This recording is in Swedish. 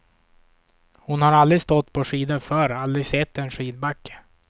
Hon har aldrig stått på skidor förr, aldrig sett en skidbacke.